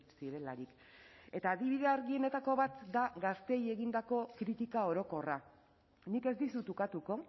zirelarik eta adibide argienetako bat da gazteei egindako kritika orokorra nik ez dizut ukatuko